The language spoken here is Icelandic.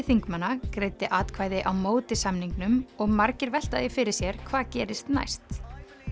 þingmanna greiddi atvkvæði á móti samningnum og margir velta því fyrir sér hvað gerist næst